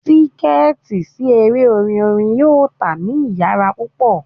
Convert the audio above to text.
Tiketi si ere orin orin yoo ta ni iyara pupọ